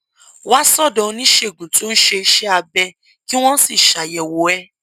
wá sódò oníṣègùn tó ń ṣe iṣé abẹ kí wón sì ṣàyèwò ẹ